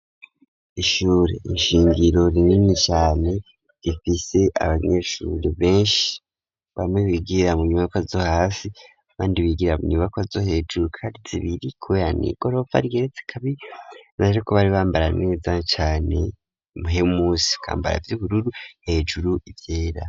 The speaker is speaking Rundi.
Ishure shingiro rinini cane, rifise abanyeshure benshi, bamwe bigira mu nyubako zo hasi, abandi bigira mu nyubako zo hejuru, kandi zibiri kubera n'igorofa igeretse kabiri, ko bambara neza cane, musi bakambara ivy'ubururu hejuru ivyera.